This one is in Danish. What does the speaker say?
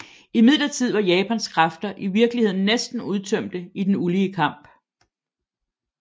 Imidlertid var Japans kræfter i virkeligheden næsten udtømte i den ulige kamp